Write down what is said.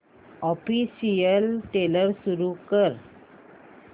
official trailer सुरू कर